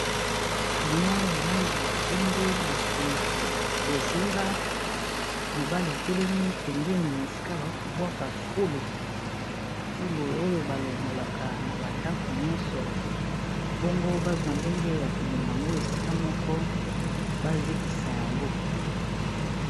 Camion ya langi ya pembe, na nsima bozinga. Mobali atelemi pembeni esika ba ko bwaka fulu, fulu oyo ba longolaka na ba ndako nyonso bongo bazwa ndenge ya komema ngo esika moko ba zikisa yango.